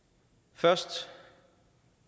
først